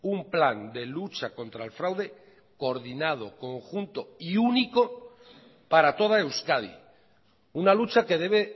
un plan de lucha contra el fraude coordinado conjunto y único para toda euskadi una lucha que debe